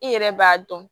I yɛrɛ b'a dɔn